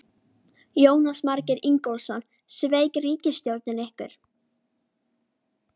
Jónas Margeir Ingólfsson: Sveik ríkisstjórnin ykkur?